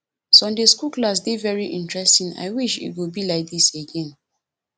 sunday school class dey very interesting and i wish e go be like dis again